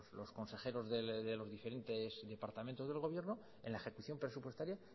los consejeros de los diferentes departamentos del gobierno en la ejecución presupuestaria